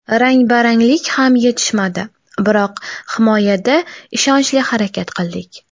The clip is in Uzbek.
Rangbaranglik ham yetishmadi, biroq himoyada ishonchli harakat qildik.